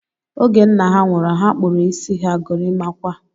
Oge nna ha nwụrụ, ha kpụrụ isi ha gorimakwa